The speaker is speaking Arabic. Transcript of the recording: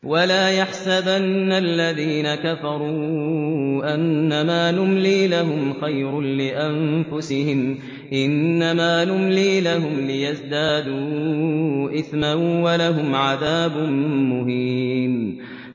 وَلَا يَحْسَبَنَّ الَّذِينَ كَفَرُوا أَنَّمَا نُمْلِي لَهُمْ خَيْرٌ لِّأَنفُسِهِمْ ۚ إِنَّمَا نُمْلِي لَهُمْ لِيَزْدَادُوا إِثْمًا ۚ وَلَهُمْ عَذَابٌ مُّهِينٌ